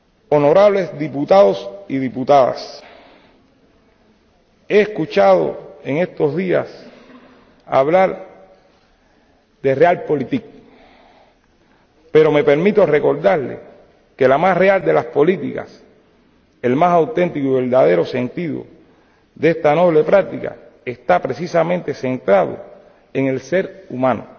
Honorables diputados y diputadas, he escuchado en estos días hablar de Realpolitik pero me permito recordarles que la más real de las políticas, el más auténtico y verdadero sentido de esta noble práctica está precisamente centrado en el ser humano